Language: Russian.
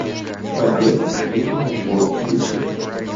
побег на ведьмину гору включи мне